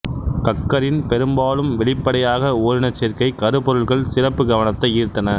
கக்கரின் பெரும்பாலும் வெளிப்படையாக ஓரினச்சேர்க்கை கருப்பொருள்கள் சிறப்பு கவனத்தை ஈர்த்தன